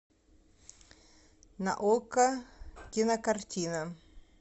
на окко кинокартина